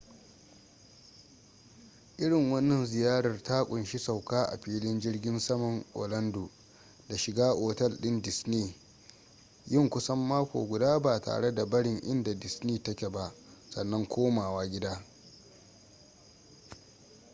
irin wanna ziyarar ta kunshi sauka a filin jirgin saman orlando da shiga otal din disney yin kusan mako guda ba tare da barin inda disney ta ke ba sannan komawa gida